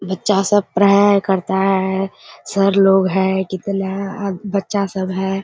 बच्चा सब पढ़ाई करता हैं सर लोग हैं कितना बच्चा सब हैं ।